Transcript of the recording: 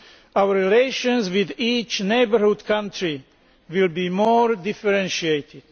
Our relations with each neighbourhood country will be more differentiated.